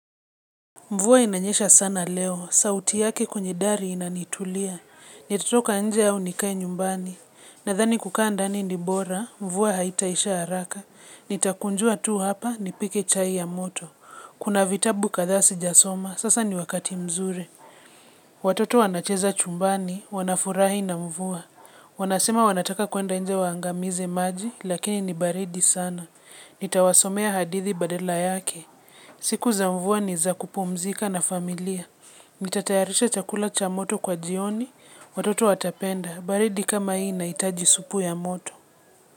Mvua inanyesha sana leo, sauti yake kwenye dari inanitulia. Nitatoka nje au nikae nyumbani. Nadhani kukaa ndani ni bora, mvua haitaisha haraka. Nitakunjua tu hapa, nipike chai ya moto. Kuna vitabu kadha. Sijasoma, sasa ni wakati mzuri. Watoto wanacheza chumbani, wanafurahi na mvua. Wanasema wanataka kuenda nje waangamize maji, lakini ni baridi sana. Nitawasomea hadithi badela yake. Siku za mvua ni za kupumzika na familia Nitatayarisha chakula cha moto kwa jioni Watoto watapenda baridi kama hii inahitaji aji supu ya moto.